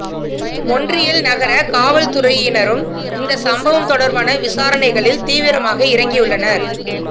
மொன்றியல் நகர காவல்துறையினரும் இந்த சம்பவம் தொடர்பான விசாரணைகளில் தீவிரமாக இறங்கியுள்ளனர்